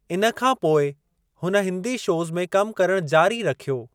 इन खां पोइ हुन हिन्दी शोज़ में कम करणु जारी रखियो।